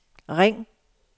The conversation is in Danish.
ring